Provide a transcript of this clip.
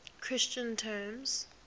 christian terms